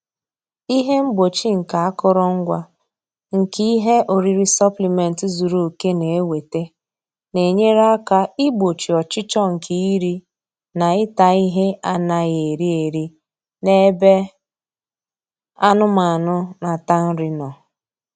Ihe mgbochi nke akụrụngwa nke ihe oriri sọpịlịmentị zuru oke na-ewete na-enyere aka igbochi ọchịchọ nke iri na ịta ihe anaghị eri eri n'ebe anụmanụ na-ata nri nọ.